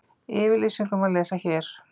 Yfirlýsinguna má lesa hér